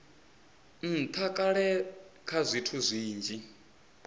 ntha kale kha zwithu zwinzhi